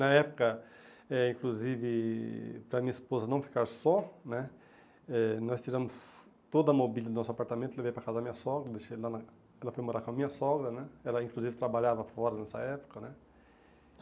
Na época, eh inclusive, para minha esposa não ficar só, né, eh nós tiramos toda a mobília do nosso apartamento, levei para casa da minha sogra, deixei lá na... ela foi morar com a minha sogra, né, ela inclusive trabalhava fora nessa época, né.